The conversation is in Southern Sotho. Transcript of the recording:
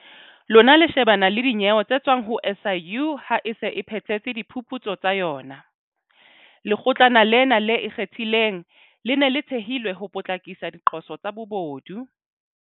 Lona le shebana le dinyewe tse tswang ho SIU ha e se e phethetse diphuputso tsa yona. Lekgotlana lena le Ikgethileng, le ne le thehelwe ho potlakisa diqoso tsa bobodu.